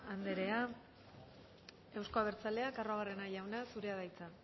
andrea eusko abertzaleak arruabarrena jauna zurea da hitza